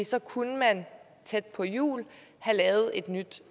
så kunne man tæt på jul have lavet et nyt